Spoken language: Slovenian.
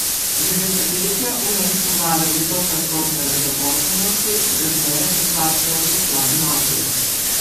Že desetletja v mestu vlada visoka stopnja nezaposlenosti, razmere pa slabšajo še člani mafije.